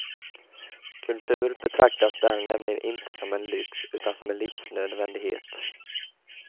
Kultur betraktas där nämligen inte som en lyx utan som en livsnödvändighet.